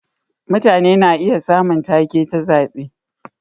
Mutane na iya samun take ta zabe.